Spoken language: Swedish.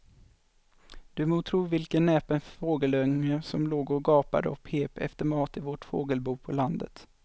Du må tro vilken näpen fågelunge som låg och gapade och pep efter mat i vårt fågelbo på landet.